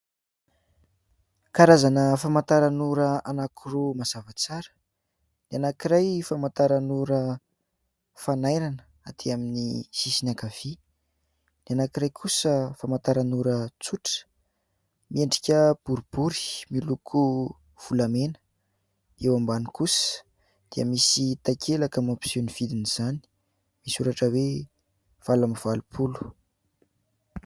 Karazana famantaranora anankiroa mazava tsara. Ny anankiray famantaranora fanairana, aty amin'ny sisiny ankavia, ny anankiray kosa famantaranora tsotra, miendrika boribory miloko volamena. Eo ambany kosa dia misy takelaka mampiseho ny vidin'izany, misy soratra hoe valo amby valopolo.